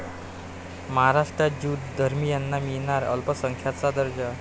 महाराष्ट्रात ज्यू धर्मियांना मिळणार अल्पसंख्याकांचा दर्जा